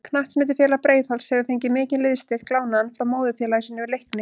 Knattspyrnufélag Breiðholts hefur fengið mikinn liðsstyrk lánaðan frá móðurfélagi sínu Leikni.